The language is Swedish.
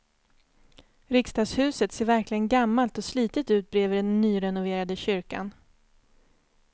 Riksdagshuset ser verkligen gammalt och slitet ut bredvid den nyrenoverade kyrkan.